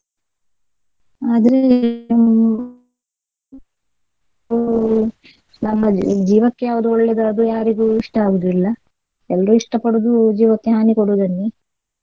ಆದ್ರೆ ನಮ್ಮ ಜೀವಕ್ಕೆ ಯಾವ್ದು ಒಳ್ಳೆದು ಅದು ಯಾರಿಗೂ ಇಷ್ಡ ಆಗುವುದಿಲ್ಲ ಎಲ್ರೂ ಇಷ್ಟಪಡುದು ಜೀವಕ್ಕೆ ಹಾನಿ ಕೊಡುದನ್ನೇ.